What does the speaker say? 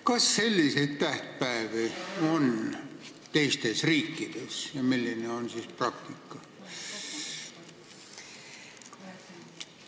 Kas selliseid tähtpäevi on teistes riikides ja kui on, siis milline on praktika?